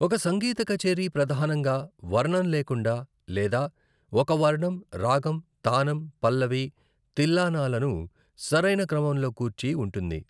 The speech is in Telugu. ఒక సంగీత కచేరీ ప్రధానంగా వర్ణం లేకుండా లేదా ఒక వర్ణం, రాగం, తానమ్, పల్లవి, తిల్లానాలను సరైన క్రమంలో కూర్చి ఉంటుంది.